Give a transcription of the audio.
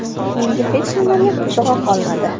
Menga hech nimaning qizig‘i qolmadi.